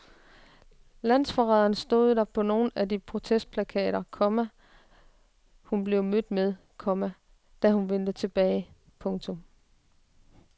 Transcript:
Landsforræder stod der på nogle af de protestplakater, komma hun blev mødt med, komma da hun vendte tilbage. punktum